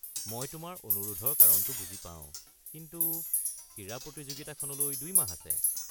মই তোমাৰ অনুৰোধৰ কাৰণটো বুজি পাওঁ, কিন্তু ক্ৰীড়া প্ৰতিযোগিতাখনলৈ দুই মাহ আছে।